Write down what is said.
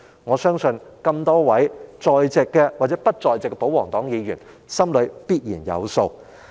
我相信多位在席或不在席的保皇黨議員必然心裏有數。